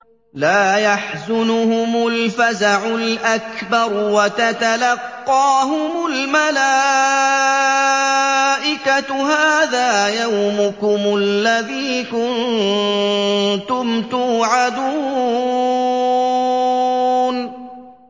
لَا يَحْزُنُهُمُ الْفَزَعُ الْأَكْبَرُ وَتَتَلَقَّاهُمُ الْمَلَائِكَةُ هَٰذَا يَوْمُكُمُ الَّذِي كُنتُمْ تُوعَدُونَ